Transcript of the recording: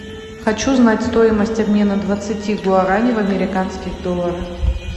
хочу знать стоимость обмена двадцати гуарани в американских долларах